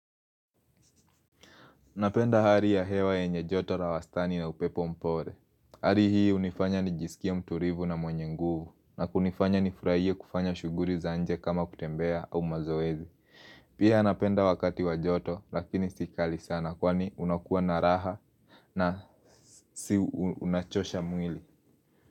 Napenda hali ya hewa yenye joto la wastani na upepo mpole Hali hii hunifanya ni jisikie mtulivu na mwenye nguvu na kunifanya ni furahie kufanya shughuli za nje kama kutembea au mazoezi Pia napenda wakati wa joto lakini si kali sana kwani unakuwa na raha na si unachosha mwili.